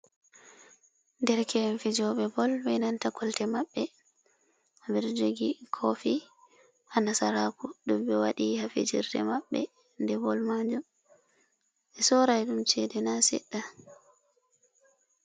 Derke'en fijooɓe bol be nanta kolte maɓɓe ɓeɗo jogi kofi ha nasaraku ɗum ɓe waɗi ha fijirde maɓɓe nde bool majum ɓe sorai ɗum chede na seɗɗa.